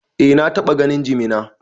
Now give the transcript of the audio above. Eh, na taɓa ganin jimina.